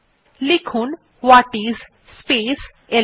লিখুন what is space LS